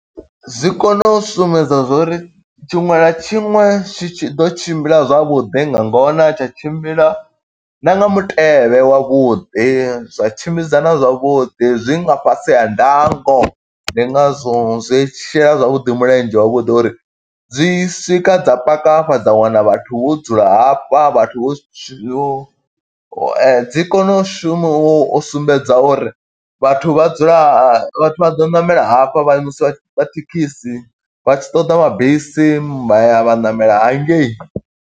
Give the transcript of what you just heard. Zwi kone u sumbedza zwo uri tshiṅwe na tshiṅwe tshi tshi ḓo tshimbila zwavhuḓi nga ngona, tsha tshimbila na nga mutevhe wavhuḓi. Zwa tshimbidzana zwavhuḓi, zwi nga fhasi ha ndango. Ndi nga zwo zwi shela zwavhuḓi mulenzhe wavhuḓi uri, dzi swika dza paka hafha dza wana vhathu vho dzula hafha, vhathu vho yo. Dzi kone u shuma u sumbedza uri vhathu vha dzula ha ha vhathu vha ḓo ṋamela hafha vha imiswa vha thekhisi, vha tshi ṱoḓa mabisi vha ya vha ṋamela hangei.